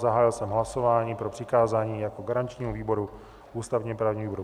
Zahájil jsem hlasování pro přikázání jako garančnímu výboru ústavně-právnímu výboru.